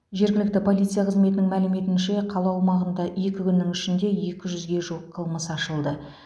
жергілікті полиция қызметінің мәліметінше қала аумағында екі күннің ішінде екі жүзге жуық қылмыс ашылды